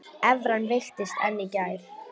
Evran veiktist enn í gær